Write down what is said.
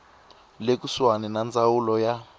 le kusuhani ya ndzawulo ya